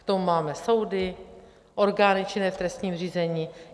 K tomu máme soudy, orgány činné v trestním řízení.